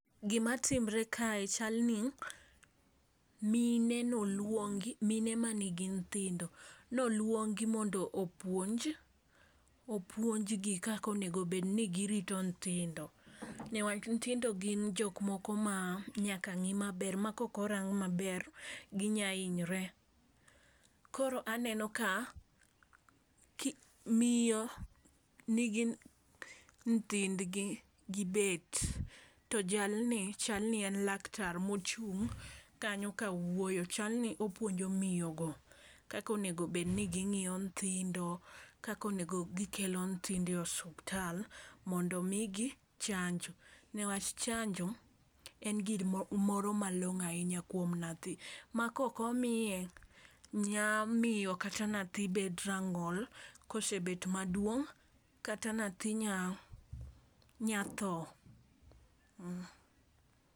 Gima timre kae chalni mine noluongi mine manigi nyithindo noluongi mondo opuonj opuonj gi kako nego bed ni girito nyithindo newach, nyithindo gin jok moko ma nyaka ng'i maber ma kok orang maber ginya hinyre. Koro aneno ka ki miyo nigi nyithindgi gibet to jalni chal ni en laktar mochung' kanyo kawuoyo chalni opuonjo miyo go kako nengo bed ni ging'iyo nyithindo ,kako nego gikelo nyithindo osiptal mondo omigi chanjo nikech, chanjo en gimoro malong'o ahinya kuom nyathi ma koko miye nya miyo kata nyathi bet rang'ol kosebet maduong' kata nyathi nya tho